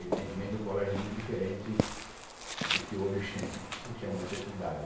Evidentemente, é um colégio muito diferente do que hoje se chama secundário.